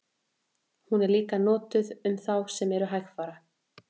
Hún er líka notuð um þá sem eru hægfara.